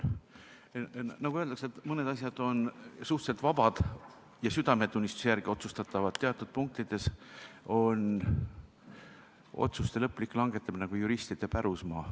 Nagu öeldakse, mõned asjad on suhteliselt vabad ja südametunnistuse järgi otsustatavad, aga teatud punktides on otsuste lõplik langetamine juristide pärusmaa.